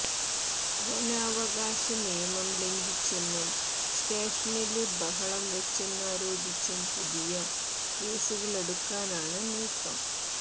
വനാവകാശ നിയമം ലംഘിച്ചെന്നും സ്റ്റേഷനില് ബഹളം വച്ചെന്നാരോപിച്ചും പുതിയ കേസുകളെടുക്കാനാണ് നീക്കം